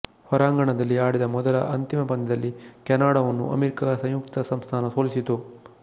ಹೊರಾಂಗಣದಲ್ಲಿ ಆಡಿದ ಮೊದಲ ಅಂತಿಮ ಪಂದ್ಯದಲ್ಲಿ ಕೆನಡಾವನ್ನು ಅಮೇರಿಕಾ ಸಂಯುಕ್ತ ಸಂಸ್ಥಾನ ಸೋಲಿಸಿತು